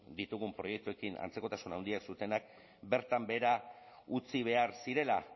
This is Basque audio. ditugun proiektuekin antzekotasun handiak zutenak bertan behera utzi behar zirela